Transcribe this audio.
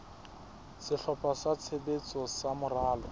sehlopha sa tshebetso sa moralo